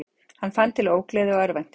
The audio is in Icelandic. Hann fann til ógleði og örvæntingar.